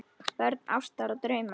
Börn ástar og drauma